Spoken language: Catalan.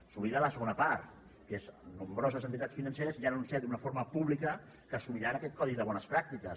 s’oblida de la segona part que és nombroses entitats financeres ja han anunciat d’una forma pública que assumiran aquest codi de bones pràctiques